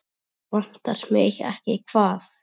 Vantar mig ekki hvað?